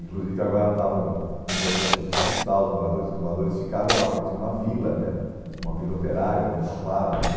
Inclusive agora estavam num processo de expulsar os moradores, porque os moradores ficaram lá, porque tinha uma vila né, uma vila operária dentro da fábrica.